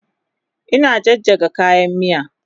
Ina jajjaga kayan miya